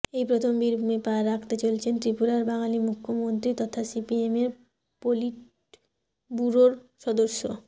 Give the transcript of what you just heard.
এই প্রথম বীরভূমে পা রাখতে চলেছেন ত্রিপুরার বাঙালি মুখ্যমন্ত্রী তথা সিপিএমের পলিটব্যুরোর সদস্য